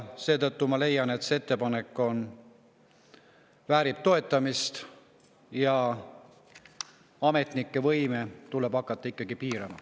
Seetõttu ma leian, et see ettepanek väärib toetamist, ametnike võimu tuleb hakata piirama.